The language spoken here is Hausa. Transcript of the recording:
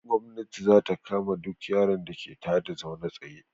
Gomnati za ta kama duk yaron da ke ta da zaune tsaye.